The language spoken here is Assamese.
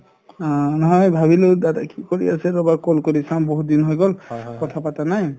অ নহয় ভবিলো দাদাই কি কৰি আছে ৰবা call কৰি চাম বহুত দিন হৈ গল কথা পাতা নাই